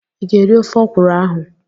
Ị ga-eri ofe ọkwuru ahụ?